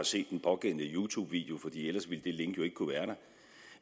set den pågældende youtube video for ellers ville det link jo ikke kunne være der